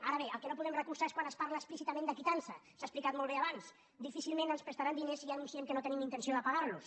ara bé el que no podem recolzar és quan es parla explícitament de quitança s’ha explicat molt bé abans difícilment ens prestaran diners si ja anunciem que no tenim intenció de pagar los